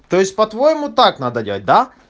то есть по-твоему так надо делать да